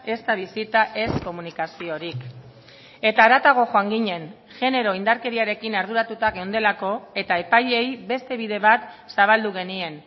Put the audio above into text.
ezta bisita ez komunikaziorik eta haratago joan ginen genero indarkeriarekin arduratuta geundelako eta epaileei beste bide bat zabaldu genien